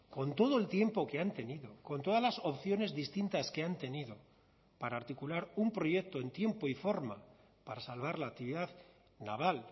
con todo el tiempo que han tenido con todas las opciones distintas que han tenido para articular un proyecto en tiempo y forma para salvar la actividad naval